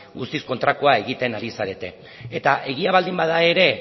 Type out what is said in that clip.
guztiz kontrakoa egiten ari zarete eta egia baldin bada ere